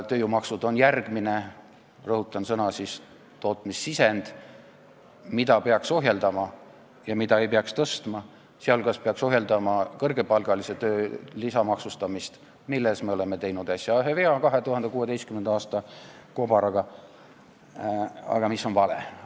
Tööjõumaksud on järgmine – rõhutan seda sõna – tootmissisend, mida peaks ohjeldama ja mida ei peaks tõstma, sh peaks ohjeldama kõrgepalgalise töö lisamaksustamist, milles me tegime äsja ühe vea 2016. aasta kobaraga, mis oli vale.